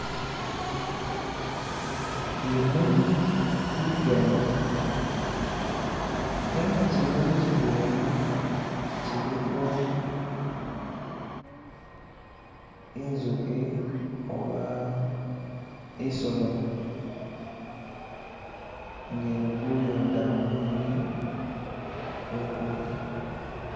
Bimuli bigali nenga kyimuli kyidwena kyiliko inzuki oba isolomi nga ilikuyoda bunuli bwekudya